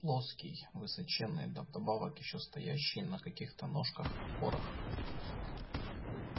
плоский высоченный да вдобавок ещё стоящий на каких то ножках-опорах